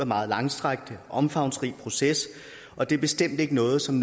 meget langstrakt og omfangsrig proces og det er bestemt ikke noget som